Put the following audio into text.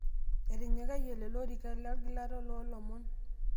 intinyikai lelo orikan te olgilata loo ilomon